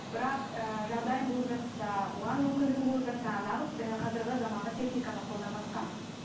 бірақ ііі жағдайың болып жатса оған мүмкіндігің болып жатса неғып қазіргі заманғы техниканы қолданбасқа